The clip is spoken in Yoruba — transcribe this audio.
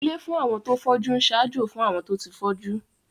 Ilé fún àwọn tó fọ́jú ń ṣaájó fún àwọn tó ti fọ́jú